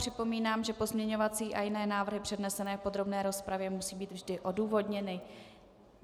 Připomínám, že pozměňovací a jiné návrhy přednesené v podrobné rozpravě musí být vždy odůvodněny.